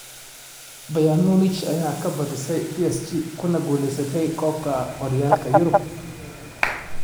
Bayern munich oo ka badisay PSG kuna guuleysatay koobka horyaalada Yurub